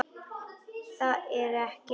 Það er ekkert að ræða.